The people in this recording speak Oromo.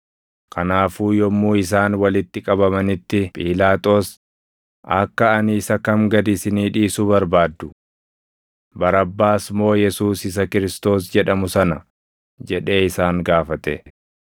Kanaafuu yommuu isaan walitti qabamanitti Phiilaaxoos, “Akka ani isa kam gad isinii dhiisu barbaaddu? Barabbaas moo Yesuus isa Kiristoos jedhamu sana?” jedhee isaan gaafate.